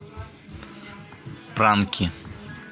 пранки